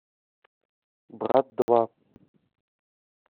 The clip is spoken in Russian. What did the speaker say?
брат два